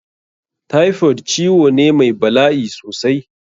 Typhoid ciwo ne mai bala'i sosai.